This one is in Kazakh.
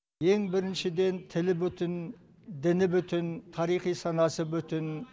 ең біріншіден тілі бүтін діні бүтін тарихи санасы бүтін